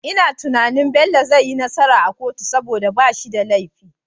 Ina tunanin Bello zai yi nasara a kotu saboda bashi da lefi